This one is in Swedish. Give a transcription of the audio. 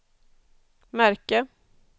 märke